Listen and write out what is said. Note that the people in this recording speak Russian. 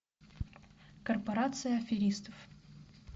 корпорация аферистов